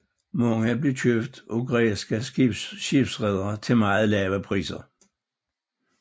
Mange blev købt af græske skibsredere til meget lave priser